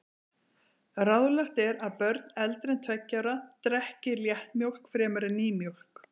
Ráðlagt er að börn eldri en tveggja ára drekki léttmjólk fremur en nýmjólk.